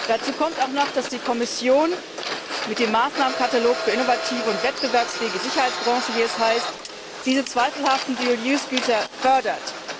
Dazu kommt auch noch, dass die Kommission mit dem Maßnahmenkatalog für innovative und wettbewerbsfähige Sicherheitsbranchen wie es heißt diese zweifelhaften Güter mit doppeltem Verwendungszweck fördert.